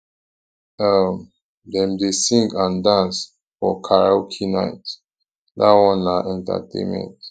um dem dey sing and dance for karaoke night dat one na entertainment